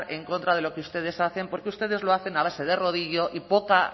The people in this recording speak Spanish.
en contra de lo que ustedes hacen porque ustedes lo hacen a base de rodillo y poca